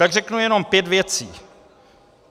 Tak řeknu jenom pět věcí.